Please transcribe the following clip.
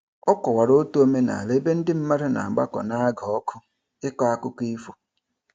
Ọ kọwara otu omenala ebe ndị mmadụ na-agbakọ n'aga ọkụ ịkọ akụkọ ifo.